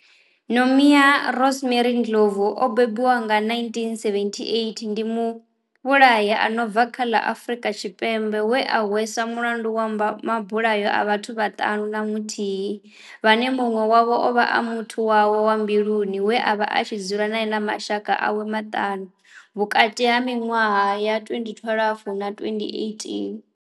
Nomia Rosemary Ndlovu o bebiwaho nga, 1978, ndi muvhulahi a no bva kha ḽa Afurika Tshipembe we a hweswa mulandu wa mabulayo a vhathu vhaṱanu na muthihi vhane munwe wavho ovha a muthu wawe wa mbiluni we avha a tshi dzula nae na mashaka awe maṱanu vhukati ha minwaha ya 2012 na 2018.